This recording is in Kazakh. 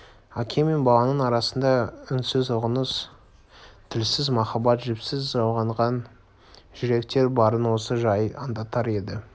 әке мен баланың арасында үнсіз ұғыныс тілсіз махаббат жіпсіз жалғанған жүректер барын осы жай аңдатар еді